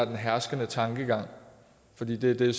den herskende tankegang fordi det er det